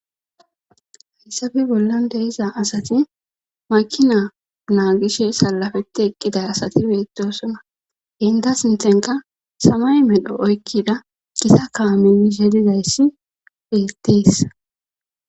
hayssafe bollan deiza asati makina naagishe salafeti eqqiday asati beetosona hinda sinthenka samay medho oykkida gisa kaaminishe dizayssi pittisa